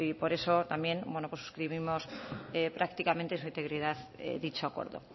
por eso también suscribimos prácticamente su integridad dicho acuerdo